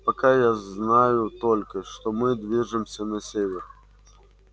пока я знаю только что мы движемся на север